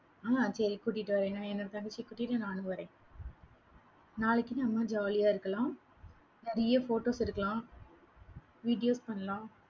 ஆஹ் சரி, கூட்டிட்டு வர்றேன் என்னோட தங்கச்சியை கூட்டிட்டு நானும் வர்றேன். நாளைக்கு, நம்ம jolly ஆ இருக்கலாம் நிறைய photos எடுக்கலாம், videos பண்ணலாம்.